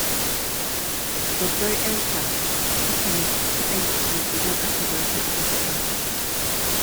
Babbar 'yarta takan ji kaɗaici, idan aka bar ta ita kaɗai.